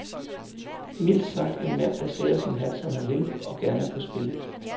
Mildt sagt en mand, der sætter sin hat, som han vil, og gerne på spil.